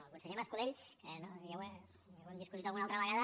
el conseller mas colell ja ho hem discutit alguna altra vegada